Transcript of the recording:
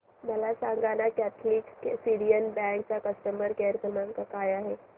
मला सांगाना Catholic Syrian bank चा कस्टमर केअर क्रमांक काय आहे